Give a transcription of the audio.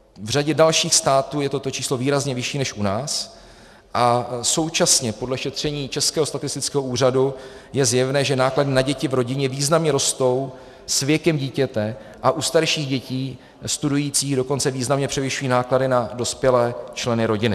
V řadě dalších států je toto číslo výrazně vyšší než u nás a současně podle šetření Českého statistického úřadu je zjevné, že náklady na děti v rodině významně rostou s věkem dítěte a u starších dětí, studujících, dokonce významně převyšují náklady na dospělé členy rodiny.